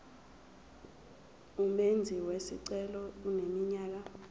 umenzi wesicelo eneminyaka